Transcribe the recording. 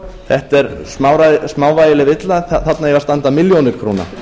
þetta er smávægileg villa þarna eiga að standa milljónir króna